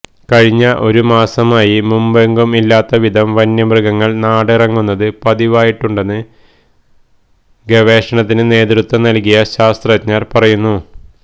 കഴിഞ്ഞ ഒരു മാസമായി മുമ്പെങ്ങും ഇല്ലാത്ത വിധം വന്യമൃഗങ്ങള് നാടിറങ്ങുന്നത് പതിവായിട്ടുണ്ടെന്ന് ഗവേഷണത്തിന് നേതൃത്വം നല്കിയ ശാസ്ത്രജ്ഞര് പറയുന്നു